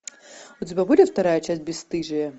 у тебя будет вторая часть бесстыжие